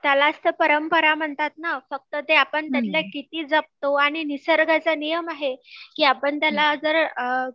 त्यालाच तर परंपरा म्हणतात ना फक्त ते आपण त्यातले किती जपतो आणि निसर्गाचा नियम आहे की आपण त्याला जर अ